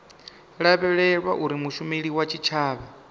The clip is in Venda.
lavhelelwa uri mushumeli wa tshitshavha